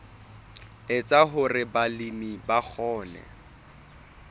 etsa hore balemi ba kgone